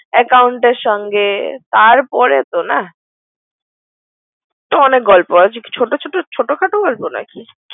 Account এর সংগে তার পরেতো না সে অনেক গল্প আছে। ছোট ছোট, ছোট খাটো নাকি গল্প নাকি।